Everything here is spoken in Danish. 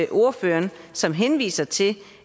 ordføreren som henviser til